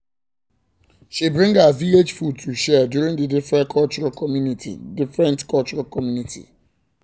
she bring her village food to share during the different cultural community different cultural community part